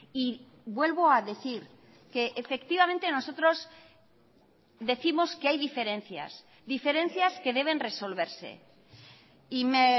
y vuelvo a decir que efectivamente nosotros décimos que hay diferencias diferencias que deben resolverse y me